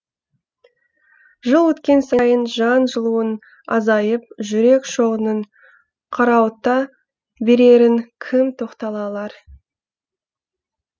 жыл өткен сайын жан жылуың азайып жүрек шоғының қарауыта берерін кім тоқтата алар